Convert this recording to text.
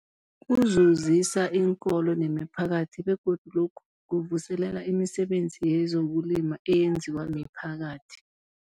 Kuzuzisa iinkolo nemiphakathi begodu lokhu kuvuselela imisebenzi yezokulima eyenziwa miphakathi.